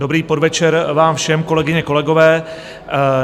Dobrý podvečer vám všem, kolegyně, kolegové.